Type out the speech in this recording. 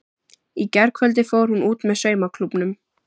Í gærkvöldi fór hún út með saumaklúbbnum.